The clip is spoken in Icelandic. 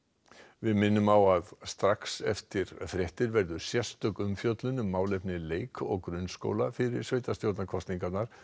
við minnum á að strax eftir fréttir verður sérstök umfjöllum um málefni leik og grunnskóla fyrir sveitarstjórnarkosningarnar